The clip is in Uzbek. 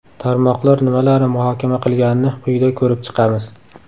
Tarmoqlar nimalarni muhokama qilganini quyida ko‘rib chiqamiz.